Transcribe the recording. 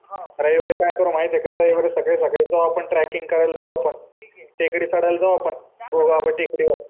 रविवारी काय कर माहितीये का रायवारी सकाळी सकाळी जाऊ आपण ट्रककिंग करायला जावं आपण टेकडी चढायला जावं आपण दोघं आपण टेकडीवर